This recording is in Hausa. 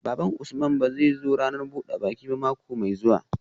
Baban Usman ba zai zo ranar buda baki ba mako mai zuwa